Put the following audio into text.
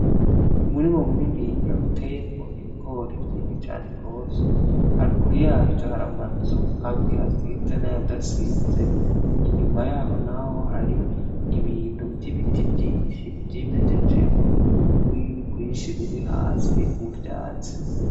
Umurima mu niniya uteyemwo ibigori vyinshi cane gwose, haruguru yavyo hari amazu amwe asize n’ayadasize, inyuma yaho naho hari ibintu vy'ibiti vyinshi vy’imejejeho n'ugwiri gwinshi rurihasi muvyatsi.